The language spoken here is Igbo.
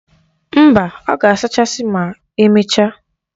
Mba, ọ ga-asachasi ma emechaa.